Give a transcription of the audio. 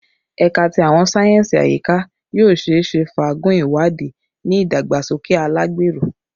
Ẹka ti Awọn sáyẹnsì Ayika yoo ṣeese faagun iwadii ni idagbasoke alagbero